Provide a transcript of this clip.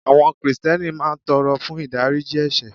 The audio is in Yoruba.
Àwọn Krìsìtẹ́nì máa ń tọrọ fún ìdáríjì ẹ̀sẹ̀